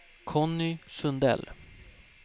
Conny Sundell